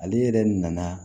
Ale yɛrɛ nana